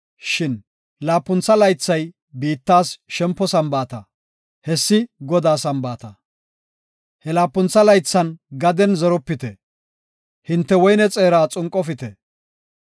Shin laapuntha laythay biittas shempo Sambaata; hessi Godaa Sambaata. He laapuntha laythan gaden zeropite; hinte woyne xeeraa xunqofite.